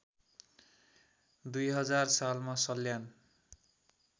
२००० सालमा सल्यान